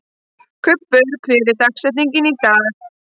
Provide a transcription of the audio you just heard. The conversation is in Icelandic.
Kubbur, hver er dagsetningin í dag?